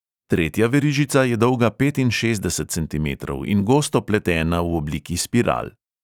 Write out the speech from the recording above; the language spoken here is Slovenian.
Tretja verižica je dolga petinšestdeset centimetrov in gosto pletena v obliki spiral.